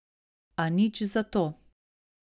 A nič zato.